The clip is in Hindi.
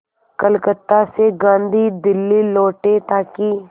कलकत्ता से गांधी दिल्ली लौटे ताकि